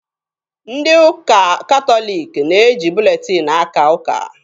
Ndị ụka katọliki na-eji buletin akaa ụka.